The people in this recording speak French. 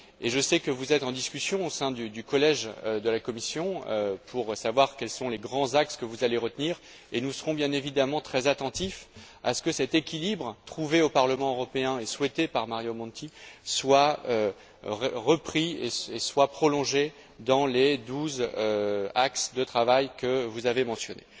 Et je sais que vous êtes en discussion au sein du collège de la Commission pour savoir quels sont les grands axes que vous allez retenir, et nous serons bien évidemment très attentifs à ce que cet équilibre trouvé au Parlement européen et souhaité par Mario Monti soit repris et soit prolongé dans les douze axes de travail que vous avez mentionnés.